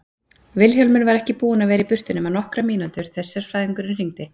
Vilhjálmur var ekki búinn að vera í burtu nema nokkrar mínútur þegar sérfræðingurinn hringdi.